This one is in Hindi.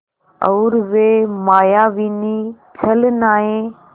और वे मायाविनी छलनाएँ